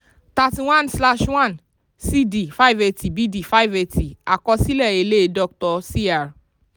thirty one slash one c d five eighty àkọsílẹ̀ èlé doctor cr.